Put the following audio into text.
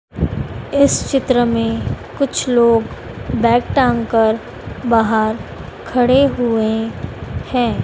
इस चित्र में कुछ लोग बैग टांग कर बाहर खड़े हुए हैं।